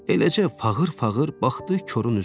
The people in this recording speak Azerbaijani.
Eləcə fağır-fağır baxdı korun üzünə.